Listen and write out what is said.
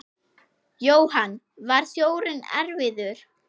Jóhann: Var sjórinn erfiður?